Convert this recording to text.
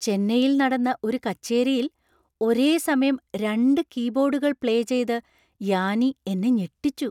ചെന്നൈയിൽ നടന്ന ഒരു കച്ചേരിയിൽ ഒരേസമയം രണ്ട് കീബോർഡുകൾ പ്ലേ ചെയ്ത് യാനി എന്നെ ഞെട്ടിച്ചു.